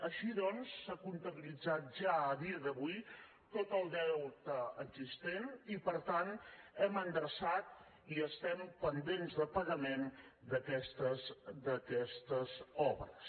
així doncs s’ha comptabilitzat ja a dia d’avui tot el deute existent i per tant hem endreçat i estem pendents de pagament d’aquestes obres